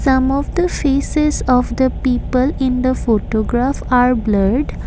some of the faces of the people in the photograph are blurred.